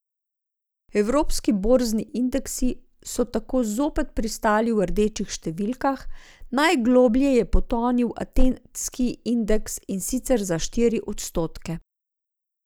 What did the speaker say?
Evropski borzni indeksi so tako zopet pristali v rdečih številkah, najgloblje je potonil atenski indeks, in sicer za štiri odstotke.